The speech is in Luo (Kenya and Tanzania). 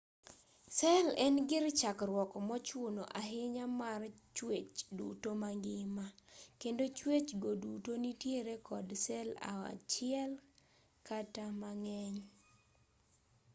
sel en gir chakruok mochuno ahinya mar chwech duto mangima kendo chwech go duto nitiere kod sel achiel kata mang'eny